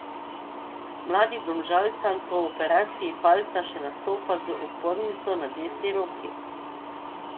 Mladi Domžalčan po operaciji palca še nastopa z opornico na desni roki.